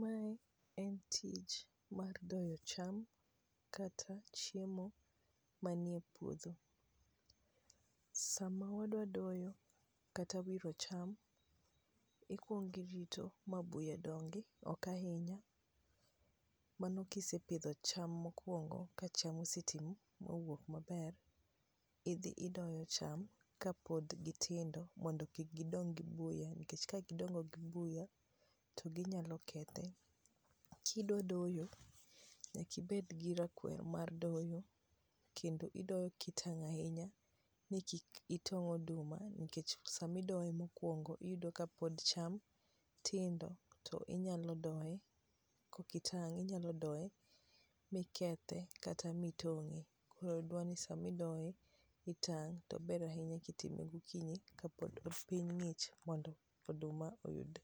Mae en tich mar doyo cham kata chiemo manie puodho. Sama wadwadoyo kata wiro cham ikuongi rito ma buya dongi okainya mano kisepidho cham mokuongo ka cham osetii mowuok maber. Idhi idoyo cham ka pod gitindo mondo kik gidong gi buya nikech kagidongo gi buya to ginyalokethe. Kidwadoyo nyakibedgi rakwer mar doyo kendo idoyo kitang' ainya ni kik itong'oduma nikech samidoyo mokuongo iyudo ka pod cham tindo to inyalo doye kokitang' inyalodoe mikethe kata mitong'e koro dwaroni samidoe, itang' .Tober ahinya kitimo gokinyi kapod piny ng'ich mondo oduma oyud